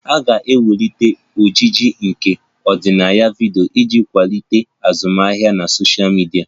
A ga-enwekwu ojiji nke ọdịnaya vidiyo iji kwalite azụmahịa na sosha midia